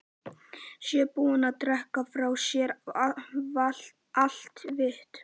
Séu búin að drekka frá sér allt vit.